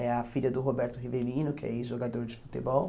É a filha do Roberto Rivelino, que é ex-jogador de futebol.